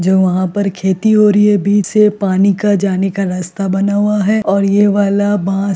जो वहाँ पर खेती हो रही है बीच से पानी का जाने का रास्ता बना हुआ है और ये वाला बांस --